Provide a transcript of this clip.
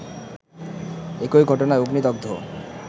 একই ঘটনায় অগ্নিদগ্ধ